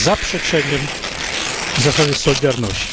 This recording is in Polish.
Jest zaprzeczeniem zasady solidarności.